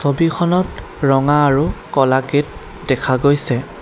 ছবিখনত ৰঙা আৰু কলা গেট দেখা গৈছে।